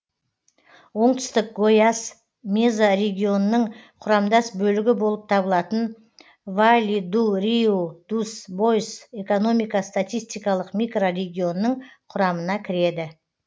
оңтүстік гойас мезорегионының құрамдас бөлігі болып табылатын вали ду риу дус бойс экономика статистикалық микрорегионының құрамына кіреді